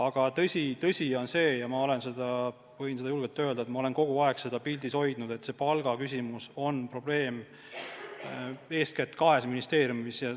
Aga tõsi on see – ja ma võin julgelt öelda, et ma olen kogu aeg seda pildil hoidnud –, et palgaküsimus on probleem eeskätt kahes ministeeriumis.